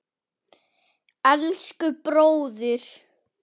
Elsku bróðir!